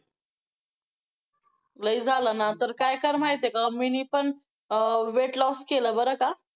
लय झालं ना, तर काय कर माहितेय का? मी नी पण अं weight loss केलं बरं का!